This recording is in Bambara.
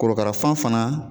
Korokarafan fana